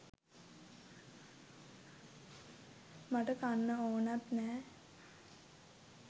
මට කන්න ඕනත් නෑ